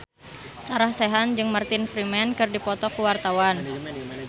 Sarah Sechan jeung Martin Freeman keur dipoto ku wartawan